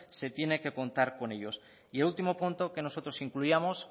se tiene que contar con ellos y el último punto que nosotros incluíamos